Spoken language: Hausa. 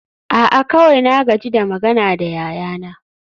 a'a kawai na gaji da magana da yayana